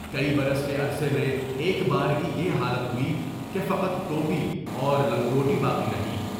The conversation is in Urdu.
کئی برس کے عرصے میں ایک بارگی یہ حالت ہوئی کہ فقط ٹوٹی اور لانگوٹ باقی رہی۔